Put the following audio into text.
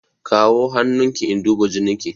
Kawo hannun ki in duba jinin ki!